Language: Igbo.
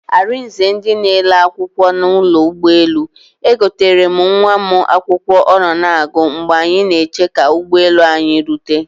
Arize ndị na ele akwụkwọ na ụlọ ụgbọ elu, egoterem nwa mụ akwụkwọ ọ nọ na agụ mgbe anyị na eche ka ụgbọ elu anyị rute